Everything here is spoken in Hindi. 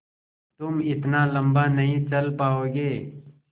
तुम इतना लम्बा नहीं चल पाओगे